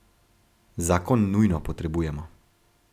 Zakon nujno potrebujemo.